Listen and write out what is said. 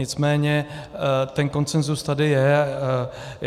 Nicméně ten konsenzus tady je.